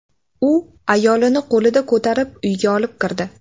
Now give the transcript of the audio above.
U ayolini qo‘lida ko‘tarib, uyga olib kirdi.